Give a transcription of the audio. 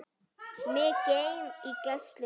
Mig geym í gæslu þinni.